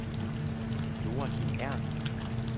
Joachim Ernst